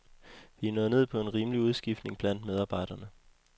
Vi er nået ned på en rimelig udskiftning blandt medarbejderne.